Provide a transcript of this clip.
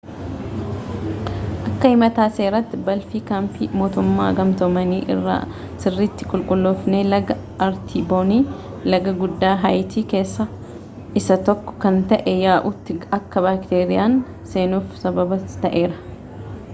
akka himata seeraatti balfii kaampii mootumoota gamtoomanii irraa sirriitti hin qulqulloofne laga aartiboonii laga guddaa haayitti keessa isa tokko kan ta'e yaa'utti akka baakteeriyaan seenuf sababa ta'eera